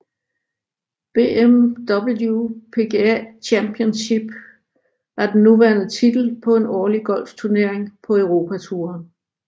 BMW PGA Championship er den nuværende titel på en årlig golfturnering på Europatouren